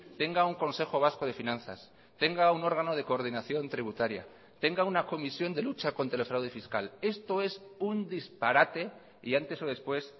tenga un consejo vasco de finanzas tenga un órgano de coordinación tributaria tenga una comisión de lucha contra el fraude fiscal esto es un disparate y antes o después